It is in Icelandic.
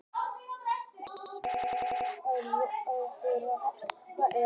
Þess vegna er ryðmyndun að öðru jöfnu því meiri sem heitara er.